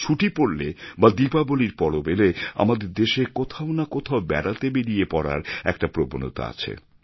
ছুটি পরলে বা দীপাবলির পরব এলে আমাদের দেশে কোথাও না কোথাও বেড়াতে বেরিয়ে পড়ার একটা প্রবণতা আছে